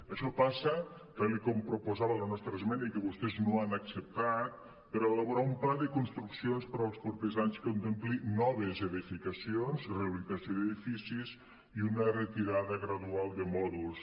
això passa tal com proposava la nostra esmena i que vostès no han acceptat per elaborar un pla de construccions per als propers anys que contempli noves edificacions i rehabilitació d’edificis i una retirada gradual de mòduls